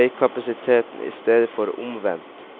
veikapasiteten i stedet for omvendt.